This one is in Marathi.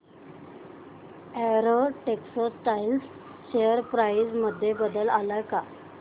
अॅरो टेक्सटाइल्स शेअर प्राइस मध्ये बदल आलाय का